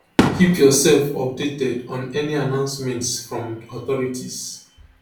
keep yourself updated on any announcements from authorities